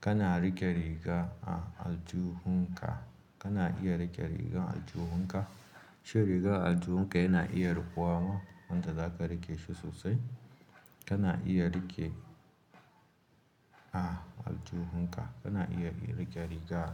kana riƙe riga a aljuhu ka. Kana iya riƙe rigan aljuhu ka. Shin riga aljuhu ka yana iya rukuwa ma wanda za ka riƙe shi sosai. Kana iya riƙe a aljuhu ka. Kana iya riƙe riga.